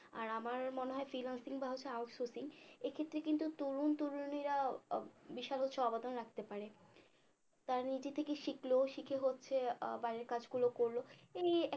আর আমার মনে হয় freelancing বা হচ্ছে out sourcing এক্ষেত্রে কিন্তু তরুণ তরুণীরা আহ বিশাল হচ্ছে অবদান রাখতে পারে তারা নিজে থেকে শিখল শিখে হচ্ছে আহ বাড়ির কাজগুলো করল এই